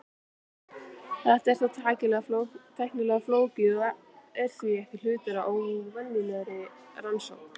Þetta er þó tæknilega flókið og er því ekki hluti af venjulegri rannsókn.